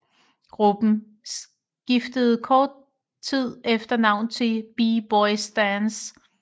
Gruppen skiftede kort tid efter navn til B Boys Stance